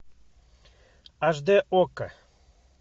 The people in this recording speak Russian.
аш дэ окко